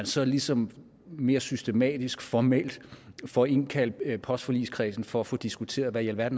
så ligesom mere systematisk og formelt får indkaldt postforligskredsen for at få diskuteret hvad